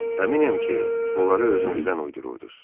Əminəm ki, onları özünüzdən uydururdunuz.